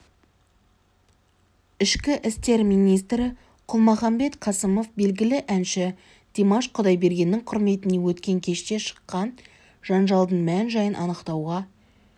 ішкі істер министрі қалмұханбет қасымов белгілі әнші димаш құдайбергеннің құрметіне өткен кеште шыққан жанжалдың мән-жайын анықтауға